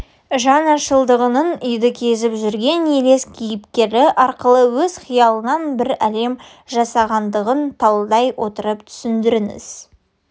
жаңашылдығының үйді кезіп жүрген елес кейіпкері арқылы өз қиялынан бір әлем жасағандығын талдай отырып түсіндіріңіз